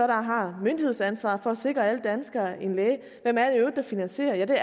der har myndighedsansvaret for at sikre alle danskere en læge at finansiere det